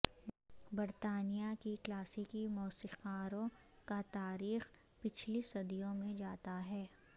برطانیہ کی کلاسیکی موسیقاروں کا تاریخ پچھلی صدیوں میں جاتا ہے